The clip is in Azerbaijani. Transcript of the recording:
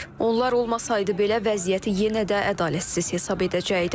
Onlar olmasaydı belə, vəziyyəti yenə də ədalətsiz hesab edəcəkdim.